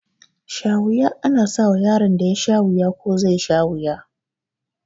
Shawuya ana sawa yaron da yasha wuya ko zai sha wuya